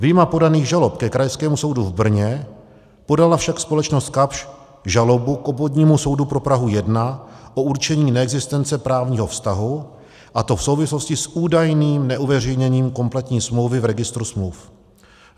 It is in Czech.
Vyjma podaných žalob ke Krajskému soudu v Brně podala však společnost Kapsch žalobu k Obvodnímu soudu pro Prahu 1 o určení neexistence právního vztahu, a to v souvislosti s údajným neuveřejněním kompletní smlouvy v registru smluv.